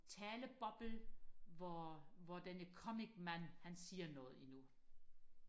taleboble hvor hvor denne comicmand han siger noget endnu